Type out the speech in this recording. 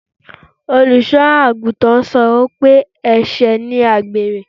Olùsọ́ àgùntàn sọ pé ẹ̀sẹ̀ ni àgbèrè